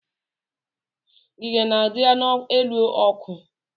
Ngiga na-adị n'elu ọkụ.